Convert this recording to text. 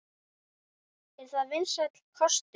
Er það vinsæll kostur?